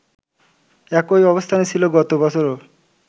একই অবস্থান ছিল গত বছরও